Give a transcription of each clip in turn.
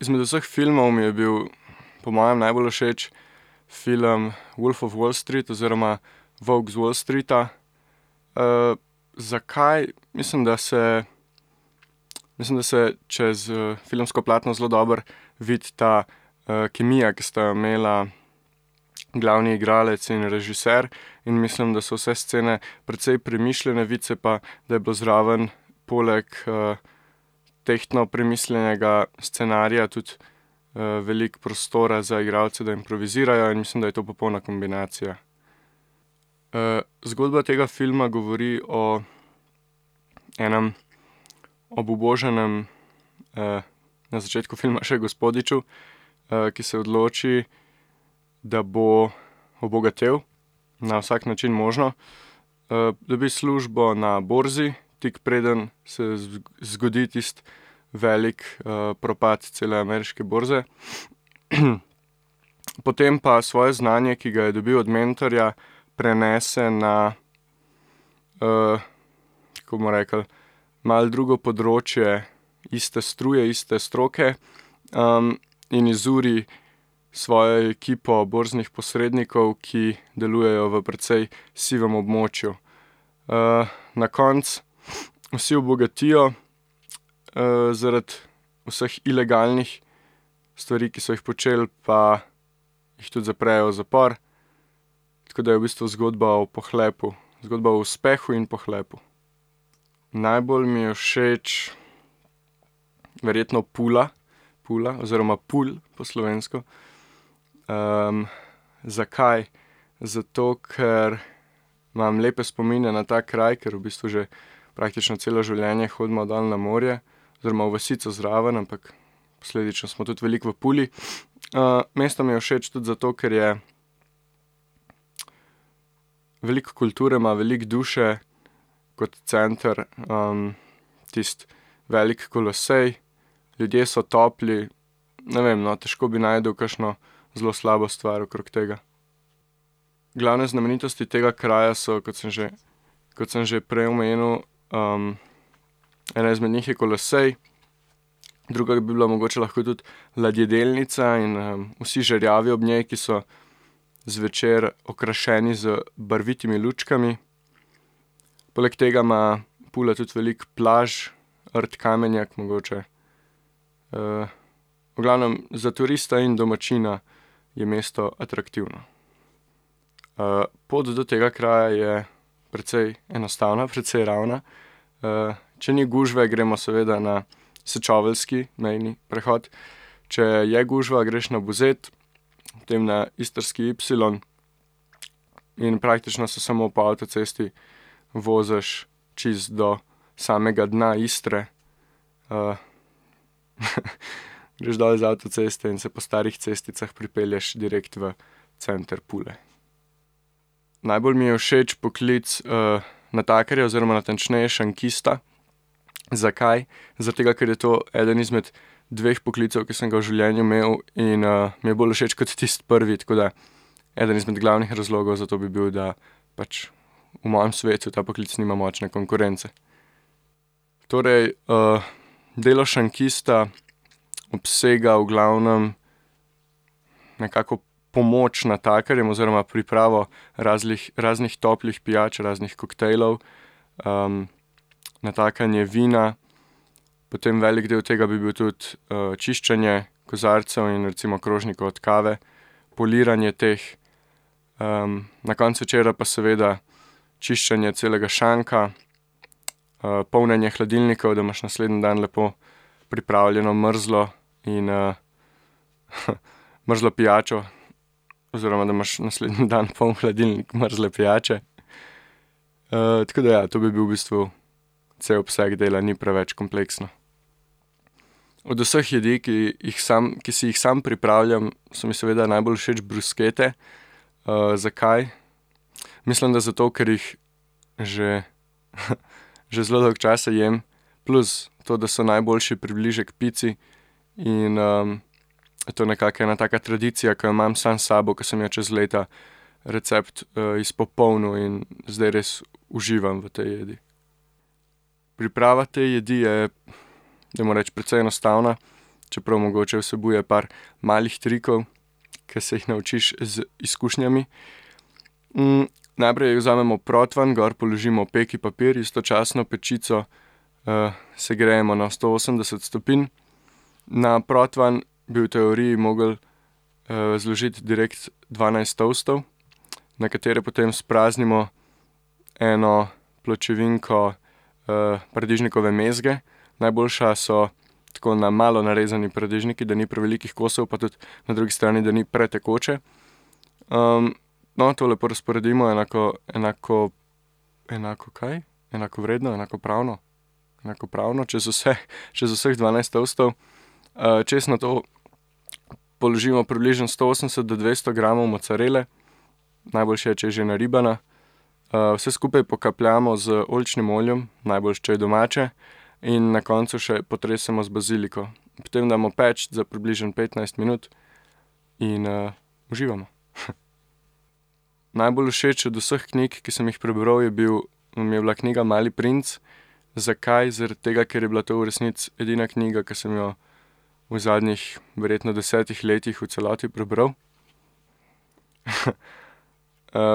izmed vseh filmov mi je bil po mojem najbolj všeč film Wolf of Wallstreet oziroma Volk z Wallstreeta. zakaj? Mislim, da se, mislim, da se čez, filmsko platno zelo dobro vidi ta, kemija, ki sta jo imela glavni igralec in režier. In mislim, da so vse scene precej premišljene, vidi se pa, da je bilo zraven poleg, tehtno premišljenega scenarija tudi, veliko prostora za igralce, da improvizirajo, in mislim, da je to popolna kombinacija. zgodba tega filma govori o enem obubožanem, na začetku filma še gospodiču, ki se odloči, da bo obogatel. Na vsak način možno. dobi službo na borzi, tik preden se zgodi tisto velik, propad cele ameriške borze. Potem pa svoje znanje, ki ga je dobil od mentorja, prenese na, tako bomo rekli, malo drugo področje iste struje, iste stroke. in izuri svojo ekipo borznih posrednikov, ki delujejo v precej sivem območju. na koncu vsi obogatijo, zaradi vseh ilegalnih stvari, ki so jih počeli, pa jih tudi zaprejo v zapor, tako da je v bistvu zgodba o pohlepu. Zgodba o uspehu in pohlepu. Najbolj mi je všeč verjetno Pula. Pula oziroma Pulj po slovensko. zakaj? Zato ker imam lepe spomine na ta kraj, ker v bistvu že praktično celo življenje hodimo dol na morje oziroma v vasico zraven, ampak posledično smo tudi veliko v Puli. mesto mi je všeč tudi zato, ker je veliko kulture ima, veliko duše kot center, tisti velik kolosej. Ljudje so topli, ne vem, no, težko bi našel kakšno zelo slabo stvar okrog tega. Glavne znamenitosti tega kraja so, kot sem že, kot sem že prej omenil, ena izmed njih je kolosej. Druga bi bila mogoče lhko tudi ladjedelnica in, vsi žerjavi ob njej, ki so zvečer okrašeni z barvitimi lučkami. Poleg tega ima Pula tudi veliko plaž, rt Kamenjak, mogoče. v glavnem za turista in domačina je mesto atraktivno. pot do tega kraja je precej enostavna, precej ravna. če ni gužve, gremo seveda na sečoveljski mejni prehod. Če je gužva, greš na Buzet, potem na istrski ipsilon in praktično se samo po avtocesti voziš čisto do samega dna Istre. greš dol z avtoceste in se po starih cesticah pripelješ direkt v center Pule. Najbolj mi je všeč poklic, natakarja oziroma natančneje šankista. Zakaj? Zaradi tega, ker je to eden izmed dveh poklicev, ki sem ga v življenju imel, in, mi je bolj všeč kot tisti prvi, tako da eden izmed glavnih razlogov za to bi bil, da pač v mojem svetu ta poklic nima močne konkurence. Torej, delo šankista obsega v glavnem nekako pomoč natakarjem oziroma pripravo razlih, raznih toplih pijač, raznih koktejlov, natakanje vina, potem velik del tega bi bil tudi, čiščenje kozarcev in recimo krožnikov od kave. Poliranje teh. na koncu večera pa seveda čiščenje celega šanka, polnjenje hladilnikov, da imaš naslednji dan lepo pripravljeno mrzlo in, mrzlo pijačo oziroma, da imaš naslednji dan poln hladilnik mrzle pijače. tako da ja, to bi bil v bistvu cel obseg dela, ni preveč kompleksno. Od vseh jedi, ki jih sam, ki si jih sam pripravljam, so mi seveda najbolj všeč bruskete. zakaj? Mislim, da zato ker jih že že zelo dolgo časa jem, plus to, da so najboljši približek pici, in, to je nekako ena taka tradicija, ke jo imam sam s sabo, ke sem jo čez leta recept, izpopolnil in zdaj res uživam v tej jedi. Priprava te jedi je, dajmo reči, precej enostavna. Čeprav mogoče vsebuje par malih trikov, ki se jih naučiš z izkušnjami. najprej vzamemo proti ven, gor položimo peki papir, istočasno pečico, segrejemo na sto osemdeset stopinj. Na protvan bi v teoriji mogli, zložiti direkt dvanajst toastov, na katere potem spraznimo eno pločevinko, paradižnikove mezge. Najboljša so tako na malo narezani paradižniki, da ni prevelikih kosov, pa tudi na drugi strani, da ni pretekoče. no, to lepo razporedimo enako, enako, enako kaj? Enakovredno, enakopravno? Enakopravno čez vse, čez vseh dvanajst toastov. čez nato položimo približno sto osemdeset do dvesto gramov mocarele. Najboljše je, če je že naribana. vse skupaj pokapljamo z oljčnim oljem, najboljše, če je domače. In na koncu še potresemo z baziliko. Potem damo peči za približno petnajst minut. In, uživamo . Najbolj všeč od vseh knjig, ki sem jih prebral, je bil, mi je bila knjiga Mali princ. Zakaj? Zaradi tega, ker je bila to v resnici edina knjiga, ki sem jo v zadnjih verjetno desetih letih v celoti prebral.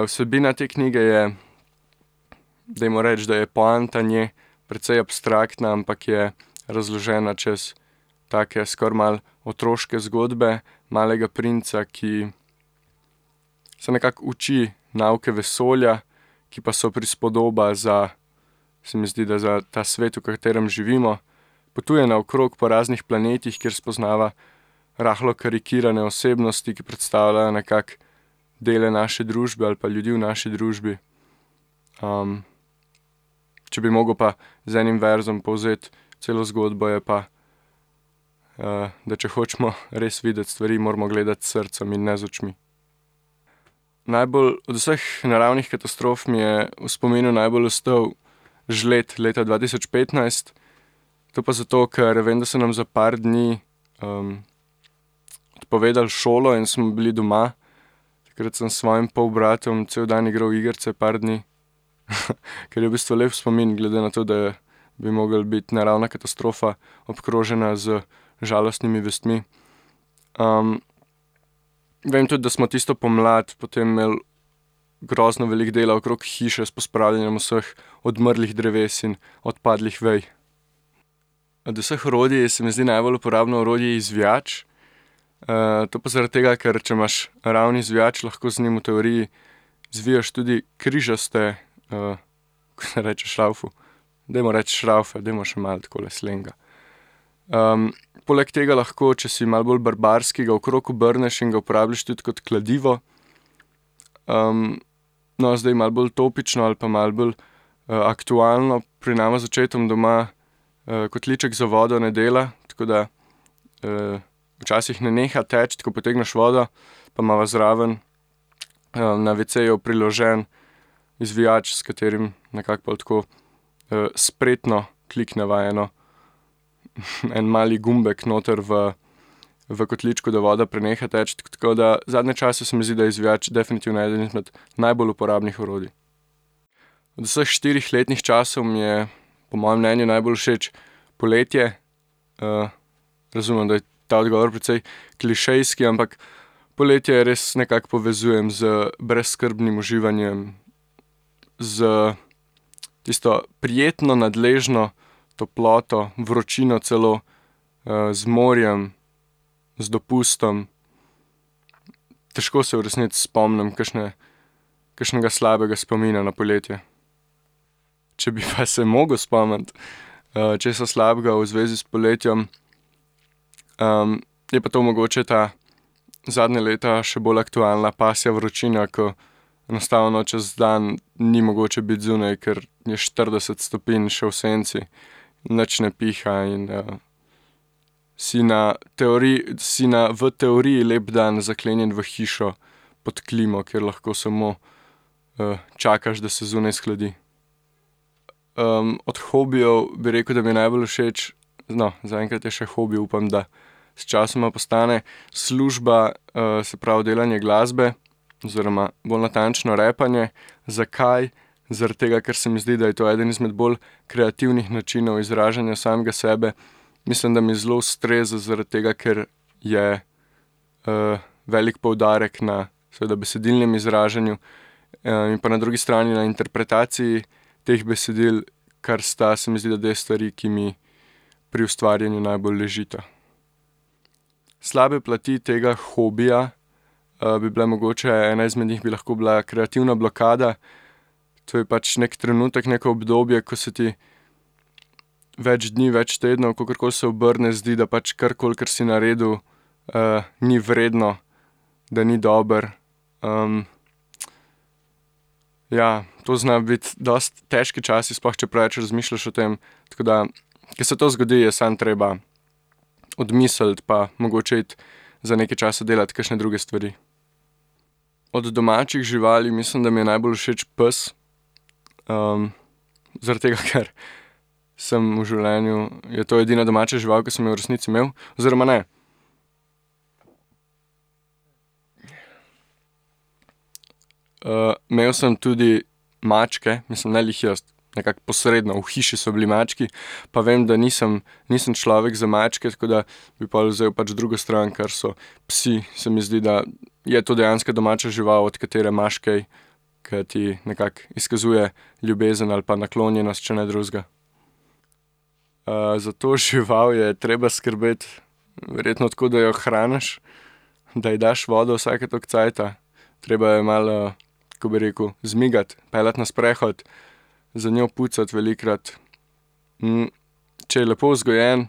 vsebina te knjige je, dajmo reči, da je poanta ne precej abstraktna, ampak je razložena čez take skoraj malo otroške zgodbe. Malega princa, ki se nekako uči nauke vesolja, ki pa so prispodoba za se mi zdi, da ta svet, v katerem živimo. Potuje naokrog po raznih planetih, kjer spoznava rahlo karikirane osebnosti, ki predstavljajo nekako zdajle naše družbe ali pa ljudi v naši družbi. če bi mogel pa z enim verzom povzeti celo zgodbo, je pa, da če hočemo res videti stvari, moramo gledati s srcem in ne z očmi. Najbolj od vseh naravnih katastrof mi je v spominu najbolj ostal žled leta dva tisoč petnajst. To pa zato, ker vem, da so nam za par dni, odpovedali šolo in smo bili doma. Takrat sem s svojim polbratom cel dan igral igrice par dni. Kar je v bistvu lep spomin, glede na to, da bi mogla biti naravna katastrofa, obkrožena z žalostnimi vestmi. vem tudi, da smo tisto pomlad potem imel grozno veliko dela okrog hiše s pospravljanjem vseh odmrlih dreves in odpadlih vej. Od vseh orodij se mi zdi najbolj uporabno orodje izvijač. to pa zaradi tega, ker če imaš ravni izvijač, lahko z njim v teoriji zviješ tudi križaste, kako se reče šravfu? Dajmo reči šravfe, dajmo še malo takole slenga. poleg tega lahko, če si malo bolj barbarski, ga okrog obrneš in ga uporabljaš tudi kot kladivo. no, zdaj malo bolj topično ali pa malo bolj, aktualno pri nama z očetoma doma, kotliček za vodo ne dela, tako da, včasih ne neha teči, ko potegneš vodo pa imava zraven, na WC-ju priložen izvijač, s katerim nekako pol tako, spretno klikneva eno, en mali gumbek noter v v kotličku, da voda preneha teči, tako da zadnje čase se mi zdi, da je izvijač definitivno eden izmed najbolj uporabnih orodij. Od vseh štirih letnih časov mi je po mojem mnenju najbolj všeč poletje. razumem, da je ta odgovor precej klišejski, ampak poletje res nekako povezujem z brezskrbnim uživanjem, s tisto prijetno nadležno toploto, vročino celo, z morjem, z dopustom. Težko se v resnici spomnim kakšne, kakšnega slabega spomina na poletje. Če bi pa se mogel spomniti, česa slabega v zvezi s poletjem, je pa to mogoče ta zadnje leta še bolj aktualna pasja vročina, ke enostavno čez dan ni mogoče biti zunaj, ker je štirideset stopinj še v senci. Nič ne piha in, si na si na v teoriji lep dan zaklenjen v hišo. Pod klimo, kjer lahko samo, čakaš, da se zunaj shladi. od hobijev, bi rekel, da mi je najbolj všeč, no, zaenkrat je še hobi, upam, da sčasoma postane služba, se pravi delanje glasbe. Oziroma bolj natančno rapanje. Zakaj? Zaradi tega, ker se mi zdi, da je to eden izmed bolj kreativnih načinov izražanja samega sebe. Mislim, da mi zelo ustreza, zaradi tega ker je, velik poudarek na seveda besedilnem izražanju, in pa na drugi strani na interpretaciji teh besedil, kar sta, se mi zdi, da dve stvari, ki mi pri ustvarjanju najbolj ležita. Slabe plati tega hobija, bi bile mogoče, ena izmed njih bi lahko bila kreativna blokada. To je pač neki trenutek, neko obdobje, ko se ti več dni, več tednov, kakorkoli se obrne, zdi, da pač karkoli, kar si naredil, ni vredno, da ni dobro. ja to znajo biti dosti težki časi, sploh, če preveč razmišljaš o tem. Tako da, ke se to zgodi, je samo treba odmisliti pa mogoče iti za nekaj časa delati kakšne druge stvari. Od domačih živali mislim, da mi je najbolj všeč pes. zaradi tega, ker sem v življenju, je to edina domača žival, ki sem jo v resnici imel, oziroma ne, imel sem tudi mačke, mislim ne glih jaz, nekako posredno v hiši so bili mački, pa vem, da nisem, nisem človek za mačke, tako da bi pol vzel pač drugo stran, kar so psi, se mi zdi, da je to dejanska domača žival, od katere imaš kaj. Ke ti nekako izkazuje ljubezen ali pa naklonjenost, če ne drugega. za to žival je treba skrbeti verjetno tako, da jo hraniš, da ji daš vodo vsake toliko cajta, treba jo je malo, kako bi rekel, zmigati, peljati na sprehod. Za njo pucati velikokrat, če je lepo vzgojen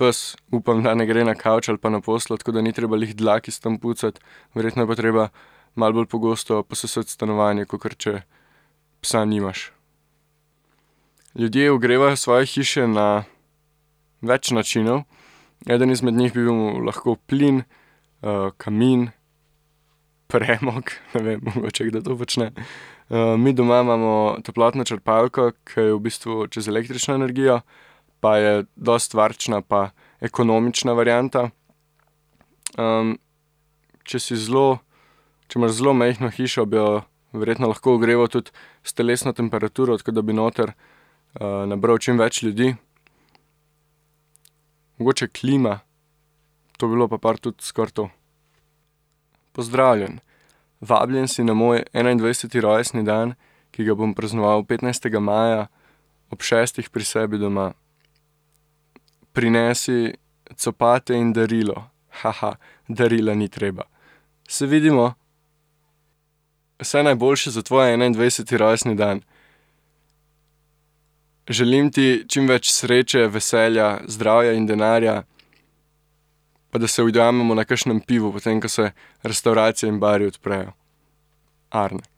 ps, upam, da ne gre na kavč ali pa na posteljo, tako da ni treba glih dlak iz tam pucati. Verjetno je pa treba malo bolj pogosto posesati stanovanje, kakor če psa nimaš. Ljudje ogrevajo svoje hiše na več načinov. Eden izmed njih bi bil lahko plin, kamin, premog, ne vem, mogoče kdo to počne. mi doma imamo toplotno črpalko, ke je v bistvu čez električno energijo. Pa je dosti varčna pa ekonomična varianta. če si zelo, če imaš zelo majhno hišo, bi jo verjetno lahko ogreval tudi s telesno temperaturo, tako da bi noter, nabral čimveč ljudi. Mogoče klima, to bi bilo pa par tudi skoraj to. Pozdravljen, vabljen si na moj enaindvajseti rojstni dan, ki ga bom praznoval petnajstega maja ob šestih pri sebi doma. Prinesi copate in darilo. Haha. Darila ni treba. Se vidimo. Vse najboljše za tvoj enaindvajseti rojstni dan. Želim ti čimveč sreče, veselja, zdravja in denarja, pa da se ujamemo na kakšnem pivu, potem ko se restavracije in bari odprejo. Arne.